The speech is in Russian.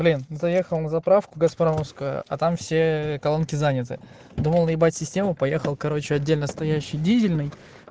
блин заехал на заправку газпромовскую а там все колонки заняты думал наибать систему поехал короче отдельностоящий дизельный